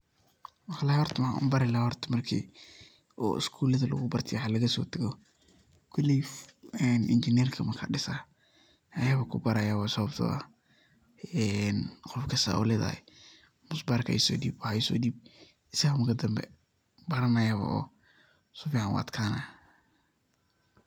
Wallahi horta waxan u bari lahay marki oo schoolada lagu barta iyo waxaa laga so tago, koley injinerka marka disayo ayaba kubaraya sababto ah een qofka saa uledahay musbarka iso dib waxa iso dib isaga marka danbe baranaya oo si fican u adkanaya.